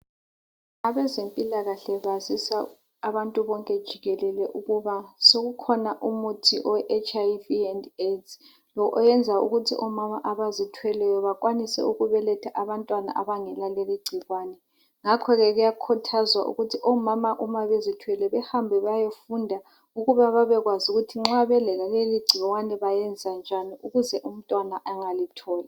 Abazempilakahle bazisa abantu bonke jikelele ukuba sokukhona umuthi owe HIV and AIDS oyenza ukuth omama abazithweleyo bakwanise ukubeletha abantwana abangela leli gcikwane. Ngakhoke kuyakhuthazwa ukuthi omama uma bezithwele behambe bayefunda ukuba babekwazi ukuthi nxa belaleli gcikwane bayenza njani ukuze umntwana engalitholi.